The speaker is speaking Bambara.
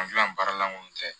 An gilan baara lankolon tɛ